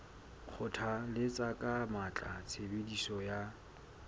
kgothalletsa ka matla tshebediso ya